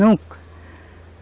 Nunca.